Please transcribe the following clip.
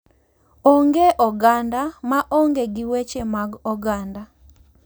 Onge oganda ma onge gi weche mag oganda,